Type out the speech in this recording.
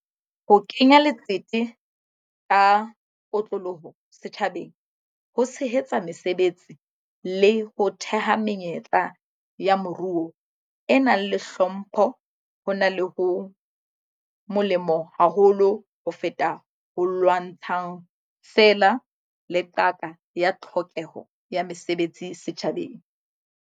Ho kenya letsete ka kotloloho setjhabeng ho tshehetsa mesebetsi le ho theha menyetla ya moruo e nang le hlompho hona ho molemo haholo ho feta ho lwantshang feela le qaka ya tlhokeho ya mesebetsi setjhabeng.